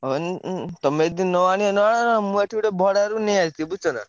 ହଁ ଉଁ ତମେ ଯଦି ନ ଆଣିବ ନ ଆଣ। ମୁଁ ଏଠି ଗୋଟେ ଭଡାରେ ନେଇଆସିବି ବୁଝୁଛନା।